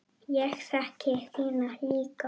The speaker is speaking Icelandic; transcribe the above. Ég þekki þína líka.